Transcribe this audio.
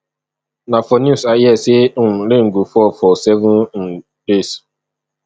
na for news i hear sey um rain go fall for seven um days